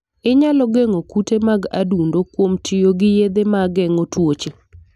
Inyalo geng'o kute mag adundo kuom tiyo gi yedhe ma geng'o tuoche.